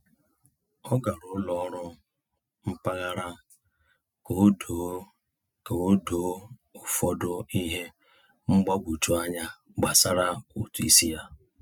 Ọ gara ụlọ ọrụ mpaghara ka o doo ka o doo ụfọdụ ihe mgbagwoju anya gbasara ụtụ isi ya.